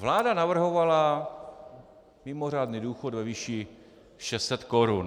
Vláda navrhovala mimořádný důchod ve výši 600 korun.